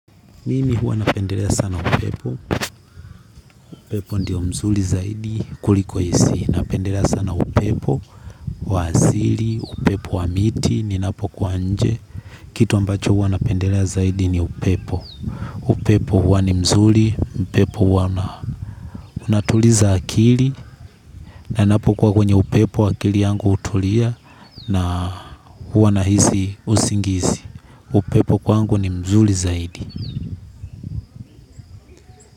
Mimi huwa napendelea sana upepo, upepo ndio mzuri zaidi kuliko hisi, napendelea sana upepo, wa asili, upepo wa miti, ninapo kuwa nje, kitu ambacho huwa napendelea zaidi ni upepo, upepo huwa ni mzuri, upepo huwa unatuliza akili, na napo kwa kwenye upepo akili yangu hutulia, na huwa nahisi usingizi, upepo kwangu ni mzuri zaidi.